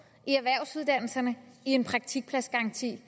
i erhvervsuddannelserne i en praktikpladsgaranti